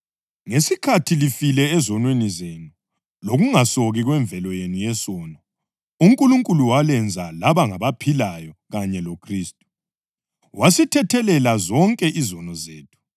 Ngesikhathi lifile ezonweni zenu lokungasoki kwemvelo yenu yesono, uNkulunkulu walenza laba ngabaphilayo kanye loKhristu. Wasithethelela zonke izono zethu